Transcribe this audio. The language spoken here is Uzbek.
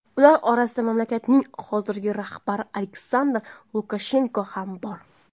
Ular orasida mamlakatning hozirgi rahbari Aleksandr Lukashenko ham bor.